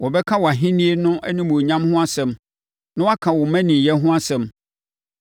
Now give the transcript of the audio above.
Wɔbɛka wʼahennie no animuonyam ho asɛm na wɔaka wo mmaninyɛ ho asɛm,